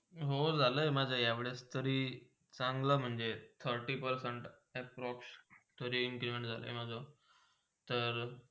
हो, झाला माझा या वेळीतरी चांगला म्हणजे thirty percent approax तरी increment झाला आहे माझा?